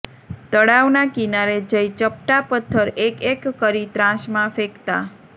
તળાવના કિનારે જઈ ચપટા પથ્થર એક એક કરી ત્રાંસમાં ફેંકતા